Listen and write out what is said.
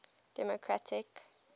democratic